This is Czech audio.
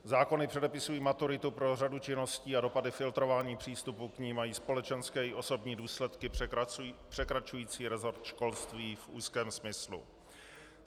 Zákony předepisují maturitu pro řadu činností a dopady filtrování přístupu k ní mají společenské i osobní důsledky překračující resort školství v úzkém smyslu.